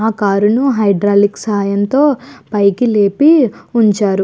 ఆ కార్ ను హైడ్రాలిక్ సాయంతో పైకి లేపి ఉంచారు.